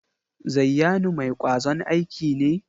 Zayyanu mai kwazon aiki ne?